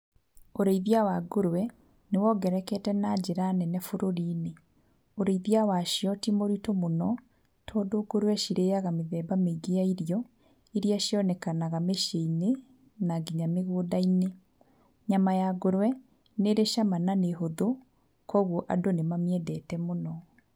Ũrĩithia wa ngũrũwe, nĩ wongererekete na njĩra nene bũrũrinĩ. Ũrĩithia wa cio ti mũritũ mũno tondũ ngũrũwe cirĩaga mĩthemba mĩingĩ ya irio, iria cionekanaga mĩci-ĩinĩ na nginya mĩgũnda-inĩ. Nyama ya ngũrũwe nĩrĩ cama na nĩ hũthũ, kũoguo andũ nĩ mamĩendete mũno.